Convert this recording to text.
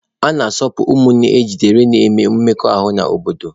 A na-asụpụ ụmụnne ejidere na-enwe mmekọahụ n'obodo.